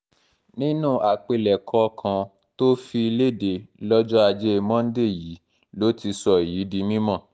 nínú àpilẹ̀kọ kan tó fi lédè lọ́jọ́ ajé monde yìí ló ti sọ èyí di mímọ́